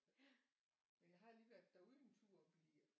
Men jeg har lige været derude en tur og blive